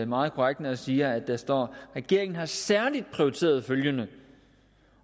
meget korrekt når jeg siger at der står regeringen har særligt prioriteret følgende